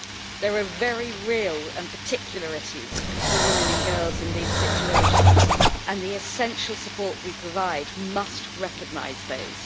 There are very real and particular issues for women and girls in these situations, and the essential support we provide must recognise those.